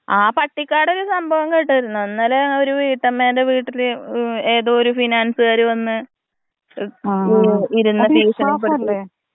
ആ പട്ടിക്കാട് സംഭവം കേട്ടായിരുന്നൊ? ഇന്നലെ ഒരു വീട്ടമ്മന്റെ വീട്ടില് ഏതൊ ഒരു ഫിനാൻസ്ക്കാര് വന്ന് ഇരുന്ന് ഭീഷണിപ്പെടുത്തി.